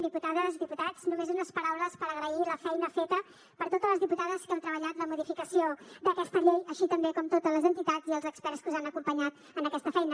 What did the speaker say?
diputades diputats només unes paraules per agrair la feina feta per totes les diputades que heu treballat la modificació d’aquesta llei així com també totes les entitats i els experts que us han acompanyat en aquesta feina